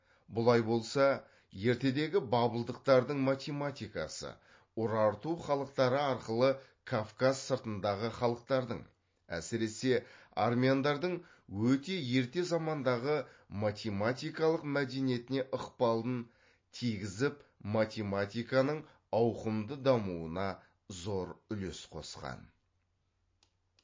бұлай болса ертедегі бабылдықтардың математикасы урарту халықтары арқылы кавказ сыртындағы халықтардың әсіресе армяндардың өте ерте замандағы математикалық мәдениетіне ықпалын тигізіп математиканың ауқымды дамуына зор үлес қосқан